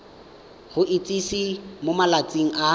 go itsise mo malatsing a